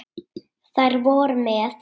Þær voru með